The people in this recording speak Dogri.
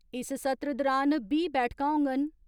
इस सत्र दुरान बीह् बैठकां होंङन